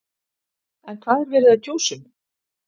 En hvað er verið að kjósa um?